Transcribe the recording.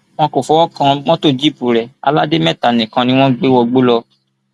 wọn kò fọwọ kan mọtò jíìpù rẹ aládèméta nìkan ni wọn gbé wọgbó lọ